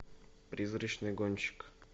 призрачный гонщик